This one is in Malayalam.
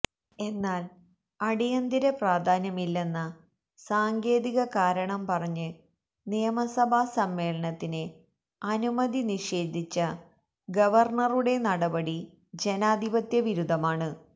എന്നാൽ അടിയന്തിര പ്രധാന്യമില്ലന്ന സാങ്കേതിക കാരണം പറഞ്ഞ് നിയമസഭാ സമ്മേളനത്തിന് അനുമതി നിഷേധിച്ച ഗവർണ്ണറുടെ നടപടി ജനാധിപത്യ വിരുദ്ധമാണ്